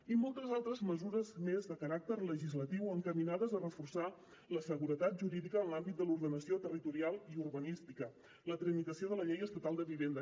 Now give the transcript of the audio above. i moltes altres mesures més de caràcter legislatiu encaminades a reforçar la seguretat jurídica en l’àmbit de l’ordenació territorial i urbanística la tramitació de la llei estatal de vivenda